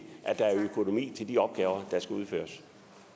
at der er økonomi til de opgaver der skal udføres